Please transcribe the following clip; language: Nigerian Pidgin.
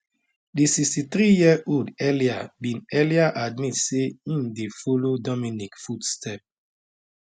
the 63yearold earlier bin earlier admit say im dey follow dominique foot step